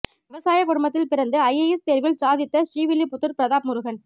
விவசாய குடும்பத்தில் பிறந்து ஐஏஎஸ் தேர்வில் சாதித்த ஸ்ரீவில்லிபுத்தூர் பிரதாப் முருகன்